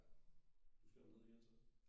Ja du skal derned igen så?